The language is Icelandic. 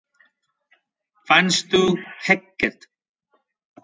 Fannstu ekkert?